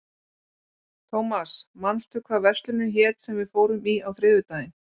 Thomas, manstu hvað verslunin hét sem við fórum í á þriðjudaginn?